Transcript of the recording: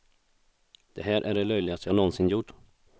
Det här är det löjligaste jag nånsin gjort.